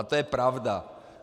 A to je pravda.